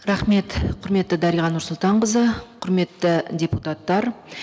рахмет құрметті дариға нұрсұлтанқызы құрметті депутаттар